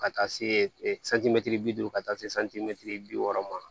Ka taa se santimɛtiri bi duuru ka taa se santimɛtiri bi wɔɔrɔ ma